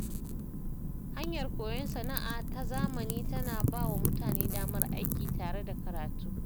Hanyar koyon sana’a ta zamani tana ba wa mutane damar aiki tare da karatu.